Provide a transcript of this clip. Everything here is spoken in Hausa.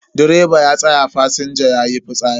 Direba ya tsaya fasinja yayi fitsari.